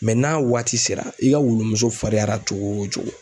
Mɛ n'a waati sera i ka wulu muso farinyara cogo o cogo